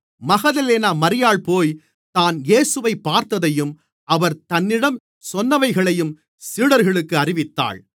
Magdalene மரியாள் போய் தான் இயேசுவைப் பார்த்ததையும் அவர் தன்னிடம் சொன்னவைகளையும் சீடர்களுக்கு அறிவித்தாள்